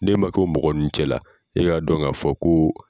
N'e ma kɛ mɔgɔ ninnu cɛla la e k'a dɔn k'a fɔ ko